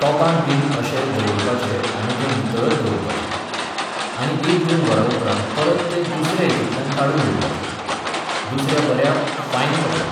तॉपांत बीन अशे दवरपाचे आनी तें नितळत दवरपाचे. आनी एक दोन वरां उपरांत परत ते दुसऱ्या हेतूंतल्यान काडून घेवपाचे. दुसऱ्या बऱ्या फायन कपड्यान